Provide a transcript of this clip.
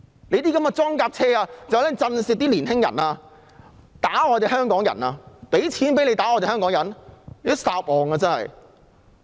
那些裝甲車是用來震懾年青人、打香港人的，還要我們付錢讓他們打香港人嗎？